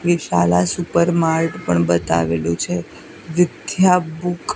Vishala super mart પણ બતાવેલું છે વિદ્યા બુક --